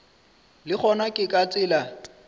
le gona ke ka tsela